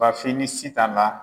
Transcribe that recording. BAFIN ni SITAN ka.